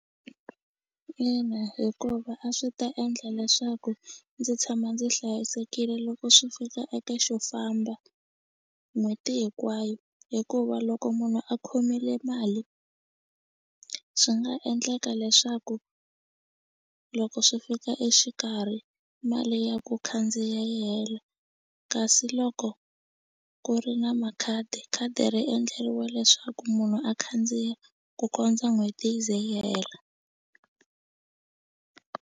Ina hikuva a swi ta endla leswaku ndzi tshama ndzi hlayisekile loko swi fika eka xo famba n'hweti hinkwayo hikuva loko munhu a khomile mali swi nga endleka leswaku loko swi fika exikarhi mali ya ku khandziya yi hela kasi loko ku ri na makhadi khadi ri endleriwe leswaku munhu a khandziya ku kondza n'hweti yi ze yi hela.